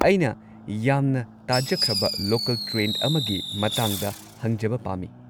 ꯑꯩꯅ ꯌꯥꯝꯅ ꯇꯥꯖꯈ꯭ꯔꯕ ꯂꯣꯀꯜ ꯇ꯭ꯔꯦꯟ ꯑꯃꯒꯤ ꯃꯇꯥꯡꯗ ꯍꯪꯖꯕ ꯄꯥꯝꯃꯤ꯫